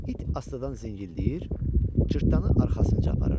İt astadan zingildəyir, cırtdanı arxasınca aparırdı.